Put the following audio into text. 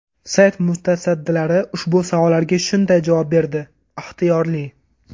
Sayt mutasaddilari ushbu savollarga shunday javob berdi: Ixtiyorli.